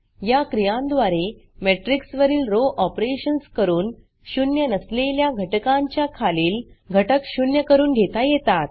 या क्रियांद्वारे matrixमेट्रिक्स वरील रो ऑपरेशन्स करून शून्य नसलेल्या घटकांच्या खालील घटक शून्य करून घेता येतात